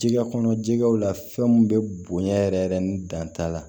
Jɛgɛ kɔnɔ jɛgɛw la fɛn mun be bonya yɛrɛ yɛrɛ yɛrɛ ni dan t'a la